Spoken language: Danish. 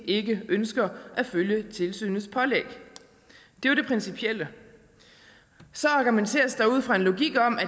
ikke ønsker at følge tilsynets pålæg det var det principielle så argumenteres der ud fra en logik om at